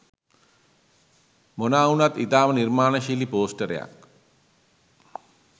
මොනා වුනත් ඉතාම නිර්මාණශීලී පෝස්ටරයක්